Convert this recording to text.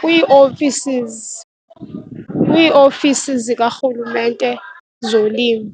kwii-offices, kwiiofisi zikarhulumente zolimo.